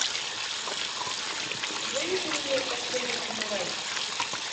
выведи мне последний самурай